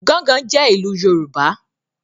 “Gángan” jẹ́ ìlù Yorùbá.